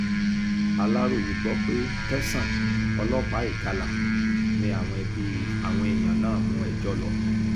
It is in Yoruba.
aláròye gbọ́ pé tẹ̀sán ọlọ́pàá ìgalà ni àwọn ẹbí àwọn èèyàn náà mú ẹjọ́ lọ